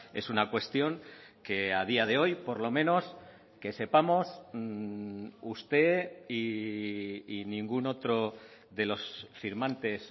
es una cuestión que a día de hoy por lo menos que sepamos usted y ningún otro de los firmantes